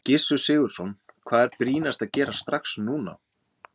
Gissur Sigurðsson: Hvað er brýnast að gera strax núna?